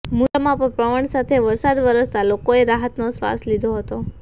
મુન્દ્રામાં પણ પવન સાથે વરસાદ વરસતા લોકોએ રાહતનો શ્વાસ લીધો છે